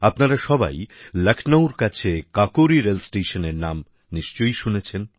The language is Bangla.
আপনারা সবাই লখনৌর কাছে কাকোরি রেলস্টেশনের নাম নিশ্চয়ই শুনেছেন